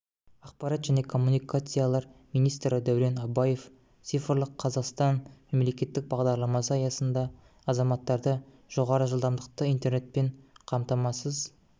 ақпарат және коммуникациялар министрі дәурен абаев цифрлық қазақстан мемлекеттік бағдарламасы аясында азаматтарды жоғары жылдамдықты интернетпен қамтамасыз